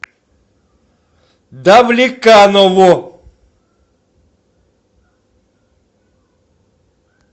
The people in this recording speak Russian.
давлеканово